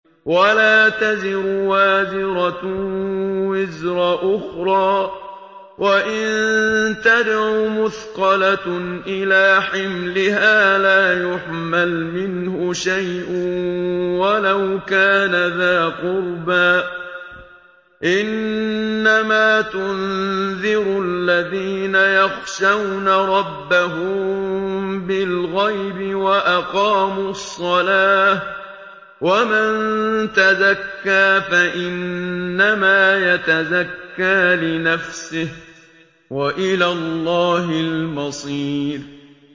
وَلَا تَزِرُ وَازِرَةٌ وِزْرَ أُخْرَىٰ ۚ وَإِن تَدْعُ مُثْقَلَةٌ إِلَىٰ حِمْلِهَا لَا يُحْمَلْ مِنْهُ شَيْءٌ وَلَوْ كَانَ ذَا قُرْبَىٰ ۗ إِنَّمَا تُنذِرُ الَّذِينَ يَخْشَوْنَ رَبَّهُم بِالْغَيْبِ وَأَقَامُوا الصَّلَاةَ ۚ وَمَن تَزَكَّىٰ فَإِنَّمَا يَتَزَكَّىٰ لِنَفْسِهِ ۚ وَإِلَى اللَّهِ الْمَصِيرُ